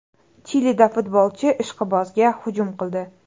Chilida futbolchi ishqibozga hujum qildi.